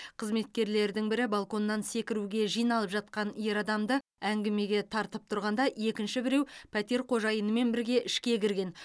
қызметкерлердің бірі балконнан секіруге жиналып жатқан ер адамды әңгімеге тартып тұрғанда екінші біреу пәтер қожайынымен бірге ішке кірген